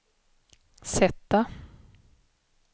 sätta